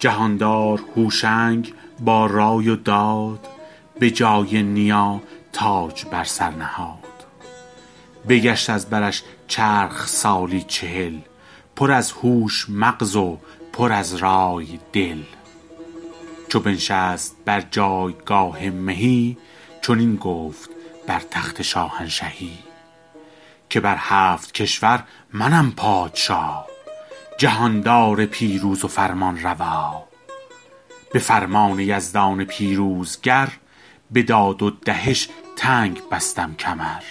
جهاندار هوشنگ با رای و داد به جای نیا تاج بر سر نهاد بگشت از برش چرخ سالی چهل پر از هوش مغز و پر از رای دل چو بنشست بر جایگاه مهی چنین گفت بر تخت شاهنشهی که بر هفت کشور منم پادشا جهاندار پیروز و فرمانروا به فرمان یزدان پیروزگر به داد و دهش تنگ بستم کمر